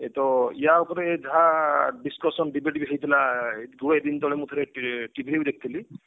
ତ ୟା ଉପରେ ଯାହା discussion debate ବି ହେଇଥିଲା ଗୁଡାଏ ଦିନ ତଳେ ମୁଁ ଥରେ TV ରେ ଦେଖି ଥିଲି